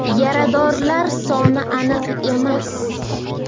Yaradorlar soni aniq emas.